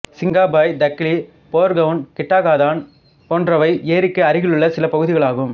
சிங்காபாய் தக்லி போர்கவுன் கிட்டிகாதான் போன்றைவை ஏரிக்கு அருகிலுள்ள சில பகுதிகளாகும்